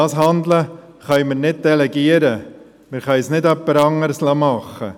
Dieses Handeln können wir nicht delegieren, wir können es niemand anderem überlassen.